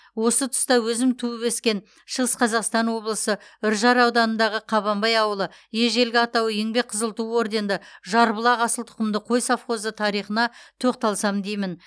осы тұста өзім туып өскен шығыс қазақстан облысы үржар ауданындағы қабанбай ауылы ежелгі атауы еңбек қызыл ту орденді жарбұлақ асыл тұқымды қой совхозы тарихына тоқталсам деймін